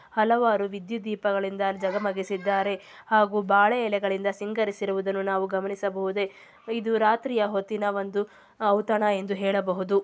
ಹಲವಾರು ವಿದ್ಯುತ್ ದೀಪಗಳಿಂದ ಜಗಮಗಿಸಿದ್ದಾರೆ. ಹಾಗು ಬಾಳೆ ಎಲೆಗಳಿಂದ ಸಿಂಗರಿಸಿರುವುದನ್ನು ನಾವು ನಾವು ಗಮನಿಸಬಹುದೇ. ಇದು ರಾತ್ರಿಯ ಹೊತ್ತಿನ ಒಂದು ಔತಣ ಎಂದು ಹೇಳಬಹುದು.